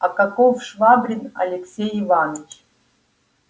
а каков швабрин алексей иваныч